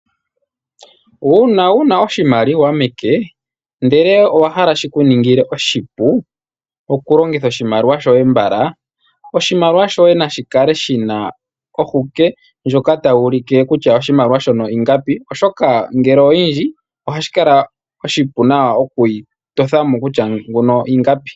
Uuna wuna oshimaliwa meke, ndele owa hala shikuningile oshipu, okulongitha oshimaliwa shoye mbala, oshimaliwa shoye nashi kale shina ohuke, ndjoka tayi ulike kutya oshimaliwa shono yingapi, oshoka ngele oyindji, ohashi kala oshipu nawa okushitotha mo nawa shika ingapi.